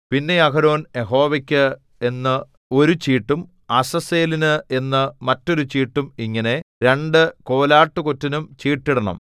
പിന്നെ അഹരോൻ യഹോവയ്ക്ക് എന്ന് ഒരു ചീട്ടും അസസ്സേലിന് എന്ന് മറ്റൊരു ചീട്ടും ഇങ്ങനെ രണ്ടു കോലാട്ടുകൊറ്റനും ചീട്ടിടണം